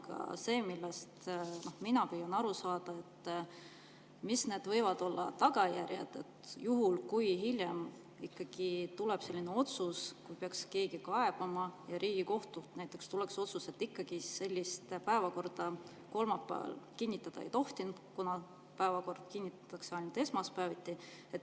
Aga see, millest mina püüan aru saada, et mis võivad olla need tagajärjed, juhul kui hiljem ikkagi keegi peaks kaebama ja Riigikohtult näiteks tuleks otsus, et sellist päevakorda kolmapäeval ikkagi kinnitada ei tohi, kuna päevakord kinnitatakse ainult esmaspäeviti.